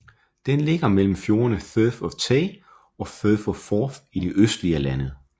Den ligger mellem fjordene Firth of Tay og Firth of Forth i det østlige af landet